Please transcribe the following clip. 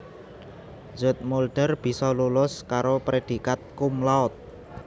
Zoetmulder bisa lulus karo prédhikat cum laude